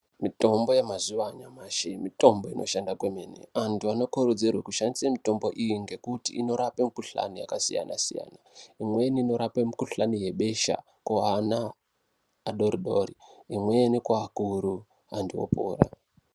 Mitombo yemazuva anyamasi mitombo inoshanda kwemene antu anokurudzirwe kushandise mitombo iyi ngekuti inorape mikuhlani yakasiyana siyana imweni inorape mukuhlani yebesha kuana adoodori imweni kuakuru antu opora.